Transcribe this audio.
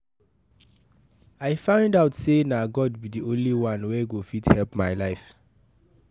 I find out say na God be the only one wey go fit help my life